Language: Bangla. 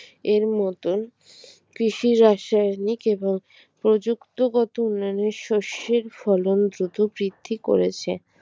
এর মতন কৃষি রাসায়নিক এবং প্রযুক্তগত উন্নয়নের শস্যের ফলন দ্রুত বৃদ্ধি করেছে